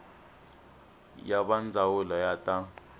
ya va ndzawulo ya ta